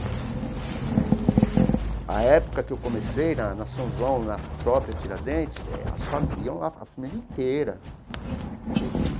A época que eu comecei, na na São João, na própria Tiradentes, eh as fa iam lá a família inteira.